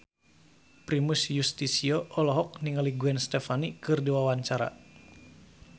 Primus Yustisio olohok ningali Gwen Stefani keur diwawancara